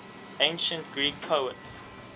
ancient greek poets